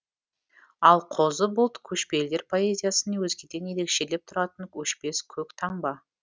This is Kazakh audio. ал қозы бұлт көшпелілер поэзиясын өзгеден ерекшелеп тұратын өшпес көк таңба